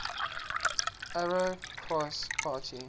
arrow cross party